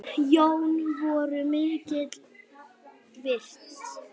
Jón voru mikils virt.